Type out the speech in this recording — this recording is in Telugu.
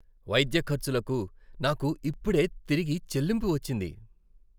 వైద్య ఖర్చులకు నాకు ఇప్పుడే తిరిగి చెల్లింపు వచ్చింది.